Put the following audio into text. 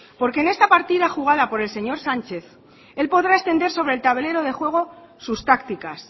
porque en esta partida jugada por el señor sánchez él podrá extender sobre el tablero de juego sus tácticas